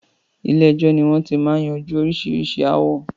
Ilé ẹjọ́ ni wọn ti máa ń yanjú oríṣiríṣi ááwọ̀